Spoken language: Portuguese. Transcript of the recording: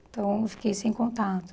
Então, eu fiquei sem contato.